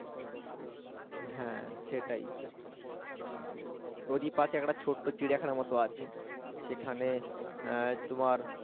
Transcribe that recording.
হ্যাঁ সেটাই ওর ই পাশে একটা ছোট্ট চিড়িয়াখানার মতো আছে। সেখানে আহ তোমার